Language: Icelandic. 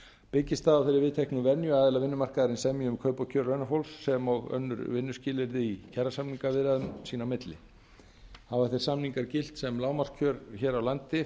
byggist það á þeirri viðteknu venju að aðilar vinnumarkaðarins semji um kaup og kjör launafólks sem og önnur vinnuskilyrði í kjarasamningsviðræðum sín á milli hafa þeir samningar gilt sem lágmarkskjör hér á landi